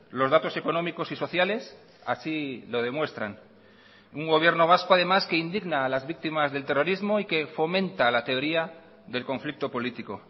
los datos económicos y sociales así lo demuestran un gobierno vasco además que indigna a las víctimas del terrorismo y que fomenta la teoría del conflicto político